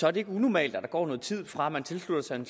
er det ikke unormalt at der går noget tid fra man tilslutter sig en